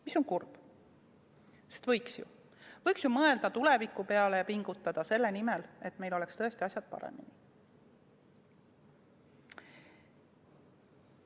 See on kurb, sest võiks ju mõelda tuleviku peale ja pingutada selle nimel, et meil oleks tõesti asjad paremini.